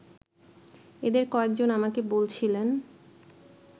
এদের কয়েকজন আমাকে বলছিলেন